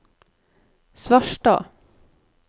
Svarstad